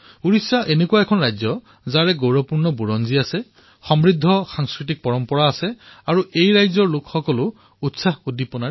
উৰিষ্যা এনে এক ৰাজ্য যাৰ নিজৰ গৌৰৱপূৰ্ণ ইতিহাস আছে সমৃদ্ধ সাংস্কৃতিক ঐতিহ্য আছে আৰু তাৰে বাসিন্দসকলো অতি উৎসাহীও